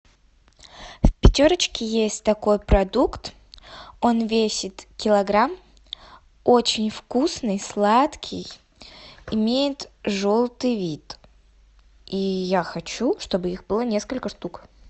в пятерочке есть такой продукт он весит килограмм очень вкусный сладкий имеет желтый вид и я хочу чтобы их было несколько штук